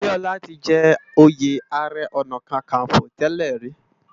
Abiola ti jè óyé àárè òná kàkánfó tèlè ri